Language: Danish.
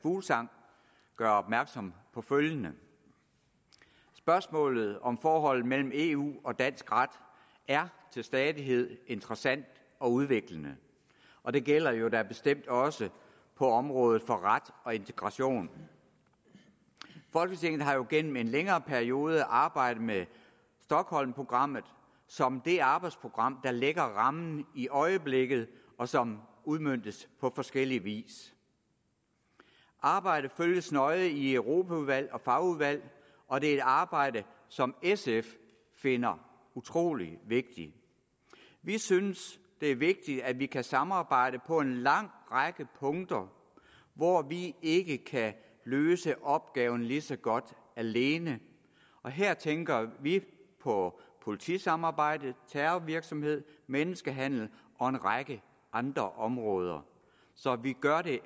fuglsang gøre opmærksom på følgende spørgsmålet om forholdet mellem eu og dansk ret er til stadighed interessant og udviklende og det gælder da bestemt også på området for ret og integration folketinget har jo gennem en længere periode arbejdet med stockholmprogrammet som det arbejdsprogram der lægger rammen i øjeblikket og som udmøntes på forskellig vis arbejdet følges nøjes i europaudvalget og fagudvalg og det er et arbejde som sf finder utrolig vigtigt vi synes det er vigtigt at vi kan samarbejde på en lang række punkter hvor vi ikke kan løse opgaven lige så godt alene og her tænker vi på politisamarbejdet terrorvirksomhed menneskehandel og en række andre områder så vi gør det